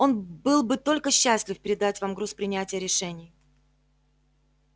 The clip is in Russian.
он был бы только счастлив передать вам груз принятия решений